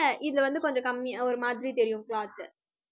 இதுல வந்து கொஞ்சம் கம்மியா, ஒரு மாதிரி தெரியும் cloth